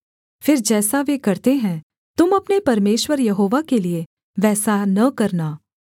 फिर जैसा वे करते हैं तुम अपने परमेश्वर यहोवा के लिये वैसा न करना